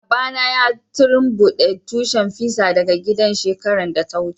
Baba na ya tumbuke tushin fisa daga gidan shekaran da ta wuce.